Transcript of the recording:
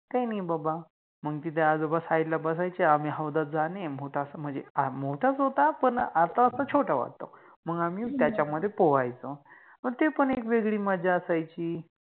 काइ नाइ बाबा, मंग तिथ आजोबा side बसायचे, आम्ही हौदात जाणे, म्हणजे मोठाच होता पण आता आता छोटा वाटतो, आम्हि त्याच्यामधे पोवायचो, पण ति पण एक वेगळी मजा असायचि